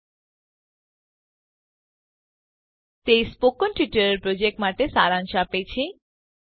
httpspoken તે spoken tutorial project માટે સારાંશ આપે છે